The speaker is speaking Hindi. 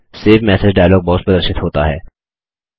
सेव मेसेज डायलॉग बॉक्स प्रदर्शित होता है